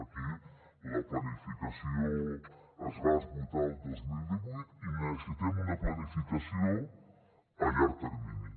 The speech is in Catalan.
aquí la planificació es va esgotar el dos mil divuit i necessitem una planificació a llarg termini